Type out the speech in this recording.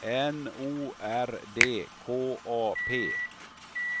N O R D K A P